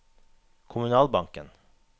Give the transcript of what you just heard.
kommunalbanken